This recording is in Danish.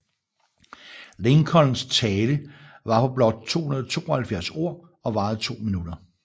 Lincolns tale var på blot 272 ord og varede to minutter